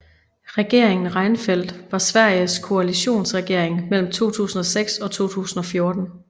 Regeringen Reinfeldt var Sveriges koalitionsregering mellem 2006 og 2014